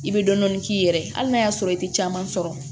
I bɛ dɔɔnin k'i yɛrɛ ye hali n'a y'a sɔrɔ i tɛ caman sɔrɔ